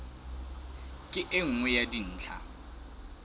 ke e nngwe ya dintlha